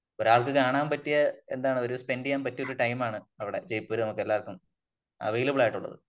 ഒരാൾക്ക് കാണാൻ പറ്റിയ എന്താണ് ഒരു സ്പെന്റ് ചെയ്യാൻ പറ്റിയ ഒരു ടയിമാണ് അവിടെ ജയ്പൂര് നമുക്ക് എല്ലാവർക്കും അവൈലബിൾ ആയിട്ടുള്ളത് .